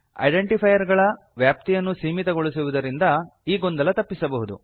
identifier ಗಳ ವ್ಯಾಪ್ತಿಯನ್ನು ಸೀಮಿತಗೊಳಿಸುವುದರಿಂದ ಈ ಗೊಂದಲ ತಪ್ಪಿಸಬಹುದು